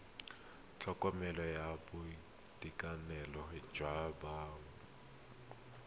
tlhokomelo ya boitekanelo jwa bomme